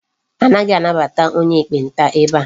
Anaghị anabata onye ekpenta ebe a.